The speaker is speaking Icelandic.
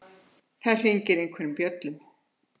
Það hringir einhverjum bjöllum.